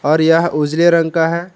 और यह उजले रंग का है।